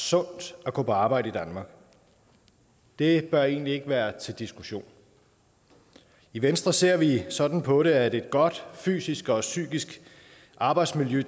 sundt at gå på arbejde i danmark det bør egentlig ikke være til diskussion i venstre ser vi sådan på det at et godt fysisk og psykisk arbejdsmiljø